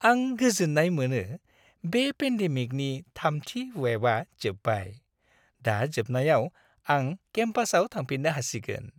आं गोजोन्नाय मोनो बे पेन्डेमिकनि थामथि वेबआ जोबबाय। दा जोबनायाव आं केम्पासाव थांफिननो हासिगोन।